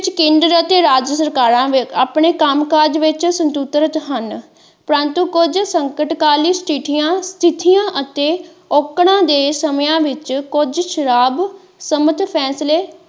ਜਿਸ ਵਿੱਚ ਕੇਂਦਰ ਅਤੇ ਰਾਜ ਸਰਕਾਰਾਂ ਆਪਣੇ ਕੰਮ ਕਾਜ ਵਿੱਚ ਸਵਤੰਤਰ ਹਨ ਪਰੰਤੂ ਕੁੱਝ ਸੰਕਟ ਕਾਲ ਸਥਿਤੀਆਂ ਸਥਿਤੀਆਂ ਅਤੇ ਔਕੜਾਂ ਦੇ ਸਮਿਆਂ ਵਿੱਚ ਕੁੱਝ ਸ਼ਰਾਪ ਸਮਿਤ ਫੈਂਸਲੇ।